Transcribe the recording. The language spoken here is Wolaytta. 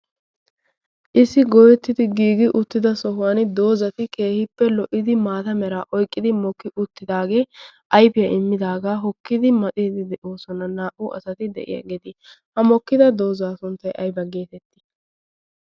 Iss goyettidi giigi uttida sohuwaan doozati keehippe lo''idi maata mera oyqqidi mokki uttidaage ayfiyaa immidaaga hokkidi madhdhidi de'oosona naa''u asati de'iyaageeti. ha mokkid dooza sunttay aybba getetti?